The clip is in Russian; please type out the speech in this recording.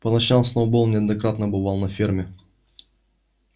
по ночам сноуболл неоднократно бывал на ферме